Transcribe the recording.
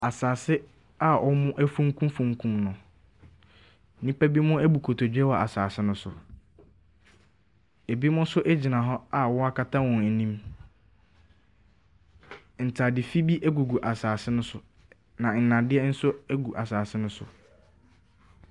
Asaase a ɔmo afunku funkum no, nnipa bi mo abu kotodwe wɔ asaase no so, ebimo so egyina hɔ a wɔn akata wɔn anim. Ntaade fin bi egugu asaase no so, na nnadeɛ nso egu asaase no so.